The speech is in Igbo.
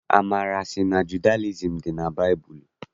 Amara sị na Judayizim dị na baịbụlụ.